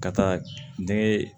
Ka taa denŋɛ